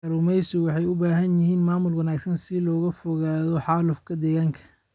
Kalluumaysigu waxay u baahan yihiin maamul wanaagsan si looga fogaado xaalufka deegaanka.